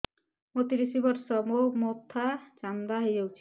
ମୋ ତିରିଶ ବର୍ଷ ମୋ ମୋଥା ଚାନ୍ଦା ହଇଯାଇଛି